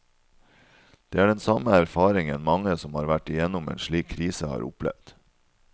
Det er den samme erfaringen mange som har vært igjennom en slik krise har opplevd.